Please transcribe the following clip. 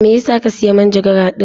Me yasa ka siya manjagara din?